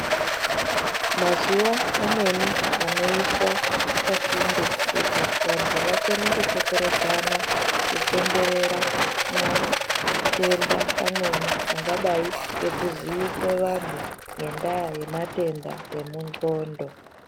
Mazuva amweni anoiswa pasinde kuti vantu vakone kukokorodzana kupemberera matenda amweni angadai ngekuziise vantu ngendaa yematenda emundxondo.